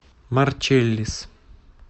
марчеллис